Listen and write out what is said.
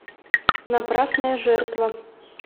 напрасная жертва